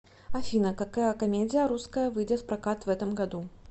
афина какая комедия русская выидет в прокат в этом году